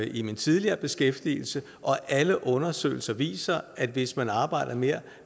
i min tidligere beskæftigelse og alle undersøgelser viser at hvis man arbejder mere